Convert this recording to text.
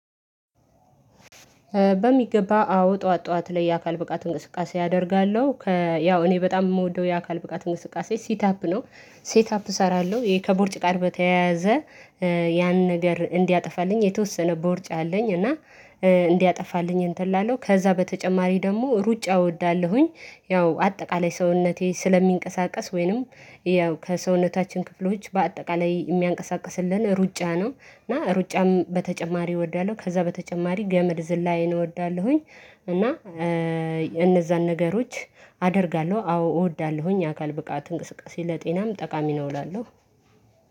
በሚገባ አዎ ጠዋት ጠዋት ላይ የአካል ብቃት እንቅስቃሴ አደርጋለሁ ያው እኔ በጣም የምወደው የአካል ብቃት እንቅስቃሴ ሴት አፕ ነው። ሴት አፕ እሰራለሁ ይሄ ከቦርጭ ቃል በተያያዘ ያን ነገር እንዲያጠፋልኝ የተወሰነ ቦርጫ አለኝ። እና እንዲያጠፋልኝ እንትን ላለው ከዛ በተጨማሪ ደግሞ ሩጫ እወዳለሁኝ። ያው አጠቃላይ ሰውነቴ ስለሚንቀሳቀስ ወይንም ያው ከሰውነታችን ክፍሎች በአጠቃላይ የሚያንቀሳቅስልን ሩጫ ነው። እና ሩጫም በተጨማሪ እወዳለሁ ከዛ በተጨማሪ ገመድ ዝላይ እወዳለሁኝ። እና እነዛን ነገሮች አደርጋለሁ። አዎ እወዳለሁኝ አካል ብቃት እንቅስቃሴ ለጤናም ጠቃሚ ነው እላለሁ።